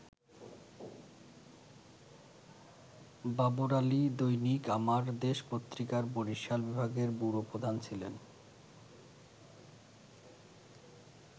বাবর আলী দৈনিক আমার দেশ পত্রিকার বরিশাল বিভাগের ব্যুরো প্রধান ছিলেন।